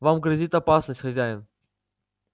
вам грозит опасность хозяин